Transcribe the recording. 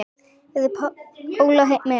Verður Pála með?